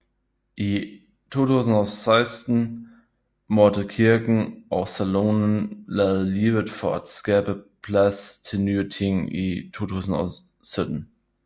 I 2016 måtte kirken og saloonen lade livet for at skabe plads til nye ting i 2017